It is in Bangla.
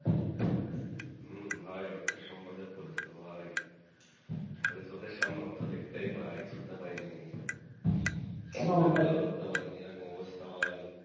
হম ভাই অর্থের সম্পাদক করেছিল ভাই খালি চোখের সামনে অর্থ দেখতেই পায় ছুঁতে পাইনি এরকম অবস্থা ভাই।